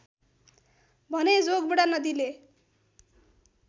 भने जोगबुढा नदीले